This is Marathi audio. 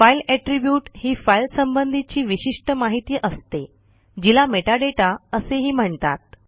फाइल एट्रिब्यूट ही फाईल संबंधीची विशिष्ठ माहिती असते जिला मेटाडाटा असेही म्हणतात